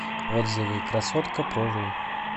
отзывы красоткапрору